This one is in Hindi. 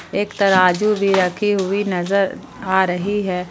एक तराजू भी रखी हुई नजर आ रही हैं।